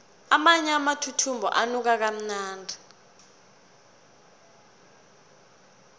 amanye amathuthumbo anuka kamnandi